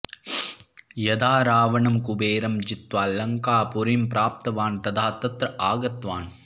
यदा रावणं कुबेरं जित्वा लङ्कापुरीं प्राप्तवान् तदा तत्र आगतवान्